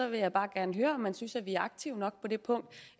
vil jeg bare gerne høre om man synes at vi er aktive nok på det punkt